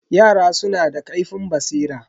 Yara suna da ƙaifin basira.